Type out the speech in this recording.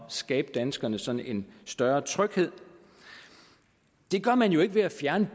skabe danskerne sådan en større tryghed det gør man jo ikke ved at fjerne